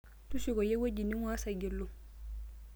shukukoyu ewuji ning'uaa Saigilu